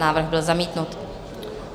Návrh byl zamítnut.